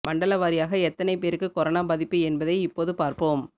மண்டல வாரியாக எத்தனை பேருக்கு கொரோனா பாதிப்பு என்பதை இப்போது பார்ப்போம்